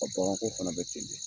bagan ko fana bɛ ten de.